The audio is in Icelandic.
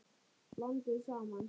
Blandið saman.